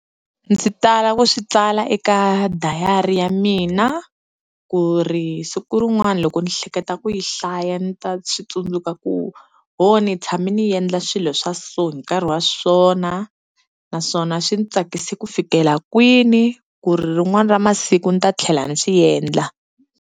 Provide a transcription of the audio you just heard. Ndzi tala ku swi tsala eka dayari ya mina ku ri siku rin'wani loko ni hleketa ku yi hlaya ni ta swi tsundzuka ku, ho ni tshame ni endla swilo swa so hi nkarhi wa swona naswona swi ni tsakisi ku fikela kwini, ku ri rin'wana ra masiku ni ta tlhela ni swi endla.